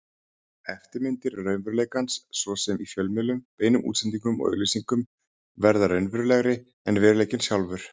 Eftirmyndir raunveruleikans, svo sem í fjölmiðlum, beinum útsendingum og auglýsingum, verða raunverulegri en veruleikinn sjálfur.